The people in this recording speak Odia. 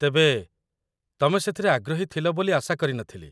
ତେବେ, ତମେ ସେଥିରେ ଆଗ୍ରହୀ ଥିଲ ବୋଲି ଆଶା କରିନଥିଲି